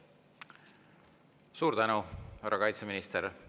Suur tänu, härra kaitseminister!